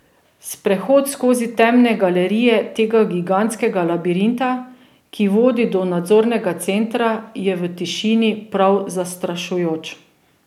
Sprehod skozi temne galerije tega gigantskega labirinta, ki vodi do nadzornega centra, je v tišini prav zastrašujoč.